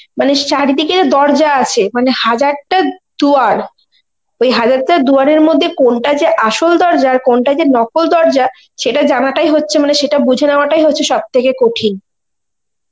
মানে সারি দিকে দরজা আছে, মানে হাজারটা দুয়ার, ওই হাজারটা দুয়ারের মধ্যে কোনটা যে আসল দরজা আর কোনটা যে নকল দরজা, সেটা জানাটাই হচ্ছে মানে সেটা বুঝে নেওয়া টাই হচ্ছে সব থেকে কঠিন